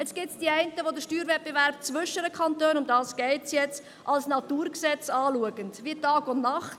Nun gibt es die einen, die den Steuerwettbewerb zwischen den Kantonen – darum geht es jetzt – als Naturgesetz anschauen, wie Tag und Nacht.